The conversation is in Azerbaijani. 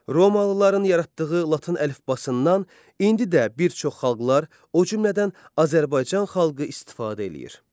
Romalıların yaratdığı latın əlifbasından indi də bir çox xalqlar, o cümlədən Azərbaycan xalqı istifadə eləyir.